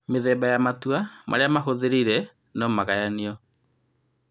Mĩthemba ya matua marĩa mahũthĩrire nomagayanio